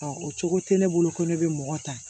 o cogo tɛ ne bolo ko ne bɛ mɔgɔ ta